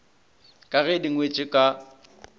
ka ge di ngwetšwe ka